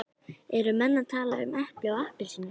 Eru menn að tala um epli og appelsínur?